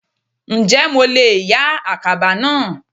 Ǹjẹ́ mo leè yá àkàbà náà